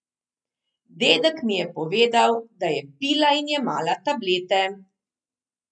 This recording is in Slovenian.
Dedek mi je povedal, da je pila in jemala tablete.